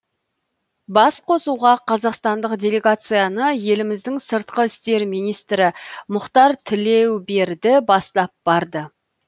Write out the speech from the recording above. басқосуға қазақстандық делегацияны еліміздің сыртқы істер министрі мұхтар тілеуберді бастап барды